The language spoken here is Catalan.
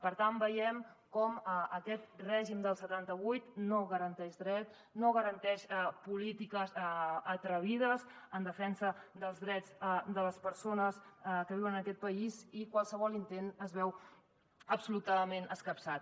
per tant veiem com aquest règim del setanta vuit no garanteix drets no garanteix polítiques atrevides en defensa dels drets de les persones que viuen en aquest país i qualsevol intent es veu absolutament escapçat